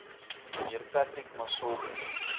mnr patrick masobe